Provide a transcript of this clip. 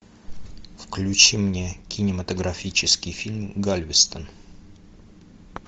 включи мне кинематографический фильм галвестон